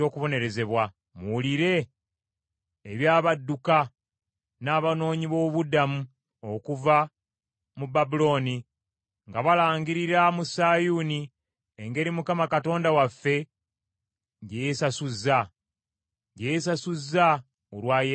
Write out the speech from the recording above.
Muwulire eby’abadduka n’abanoonyi b’obubudamu okuva mu Babulooni nga balangirira mu Sayuuni engeri Mukama Katonda waffe gye yeesasuzza, gye yeesasuzza olwa yeekaalu ye.